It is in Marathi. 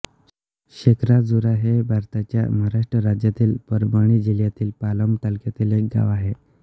शेखराजुरा हे भारताच्या महाराष्ट्र राज्यातील परभणी जिल्ह्यातील पालम तालुक्यातील एक गाव आहे